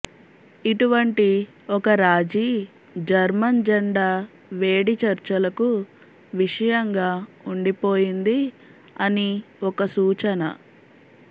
ఇటువంటి ఒక రాజీ జర్మన్ జెండా వేడి చర్చలకు విషయంగా ఉండిపోయింది అని ఒక సూచన